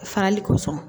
Farali kosɔn